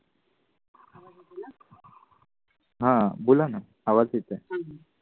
हां बोला ना आवाज येतोय